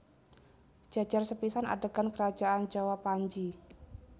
Jejer sepisan adegan kerajaan Jawa Panji